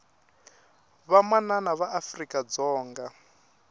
vamanana va afrika dzonga